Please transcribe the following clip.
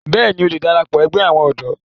bẹ́ẹ̀ni, ó le darapọ̀ ẹgbẹ́ àwọn ọ̀dọ́